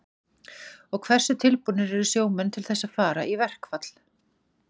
Og hversu tilbúnir eru sjómenn til þess að fara í verkfall?